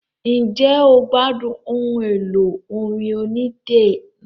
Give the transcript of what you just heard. Ǹjẹ́ o gbádùn ohun èlò orin onídẹ náà?